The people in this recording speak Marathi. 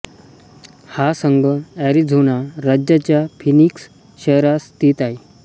हा संघ एरिझोना राज्याच्या फीनिक्स शहरात स्थित आहे